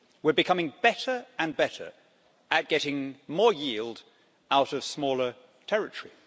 We're becoming better and better at getting more yield out of smaller territory.